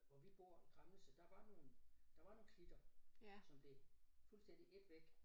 Hvor vi bor i Kramnitze der var nogle der var nogle klitter som blev fuldstændig ædt væk